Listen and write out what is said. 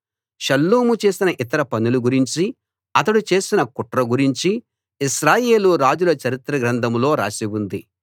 షల్లూము చేసిన ఇతర పనుల గురించి అతడు చేసిన కుట్ర గురించి ఇశ్రాయేలు రాజుల చరిత్ర గ్రంథంలో రాసి ఉంది